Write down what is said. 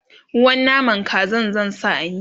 ruwan naman Kazan zan sa a miya